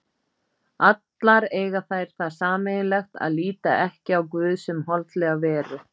Allar eiga þær það sameiginlegt að líta ekki á guð sem holdlega veru.